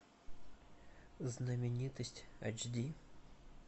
знаменитость эйч ди